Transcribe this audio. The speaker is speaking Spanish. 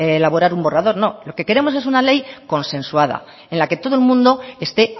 elaborar un borrador no lo que queremos es una ley consensuada en la que todo el mundo esté